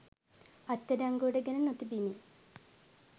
අත්අඩංගුවට ගෙන නොතිබිණි.